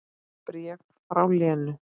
Bréf frá Lenu.